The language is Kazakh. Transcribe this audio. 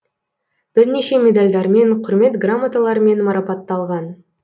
бірнеше медальдармен құрмет грамоталарымен марапатталған